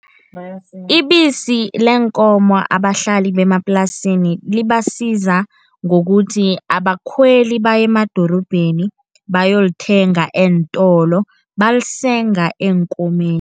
Ibisi leenkomo abahlali bemaplasini, libasiza ngokuthi abakhweli baye emadorobheni bayolithenga eentolo, balisenga eenkomeni.